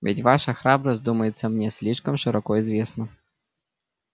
ведь ваша храбрость думается мне слишком широко известна